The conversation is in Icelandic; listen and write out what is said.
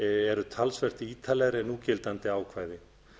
eru talsvert ítarlegri en núgildandi ákvæði